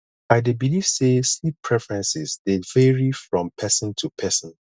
i dey believe say sleep preferences dey vary from person to person